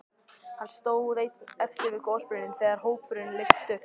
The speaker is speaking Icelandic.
Hann stóð einn eftir við gosbrunninn þegar hópurinn leystist upp.